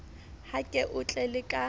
ha ke o tlele ka